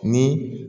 Ni